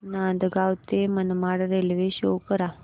नांदगाव ते Manmad railway show करा